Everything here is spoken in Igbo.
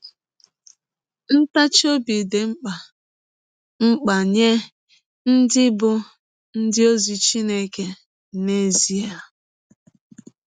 Ntachi ọbi dị mkpa mkpa nye ndị bụ́ ndị ọzi Chineke n’ezie.